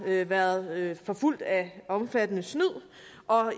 været forfulgt af omfattende snyd